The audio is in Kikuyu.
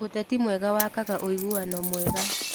Ũteti mwega wakaga ũiguano mwega.